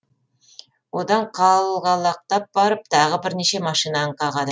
одан қалғалақтап барып тағы бірнеше машинаны қағады